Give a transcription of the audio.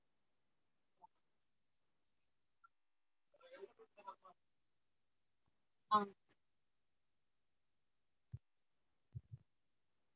அஹ்